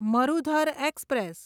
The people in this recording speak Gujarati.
મરુધર એક્સપ્રેસ